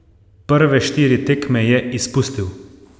Prve štiri tekme je izpustil.